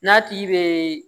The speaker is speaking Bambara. N'a tigi bɛ